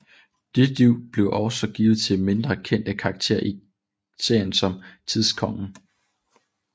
Nyt liv blev også givet til mindre kendte karakterer i serien som Tidskongen